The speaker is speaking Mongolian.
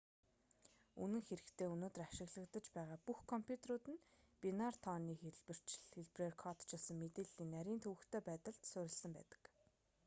үнэн хэрэгтээ өнөөдөр ашиглагдаж байгаа бүх компьютерууд нь бинар тооны хэлбэрээр кодчилсон мэдээллийн нарийн төвөгтэй байдалд суурилсан байдаг